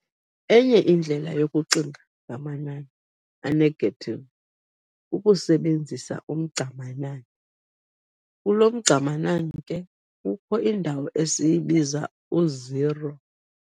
Enye indlela yokucinga ngamanani a-negative, kukusebenzisa "umgca-manani". kulo mgca-manani ke kukho indawo esiyibiza u-zero.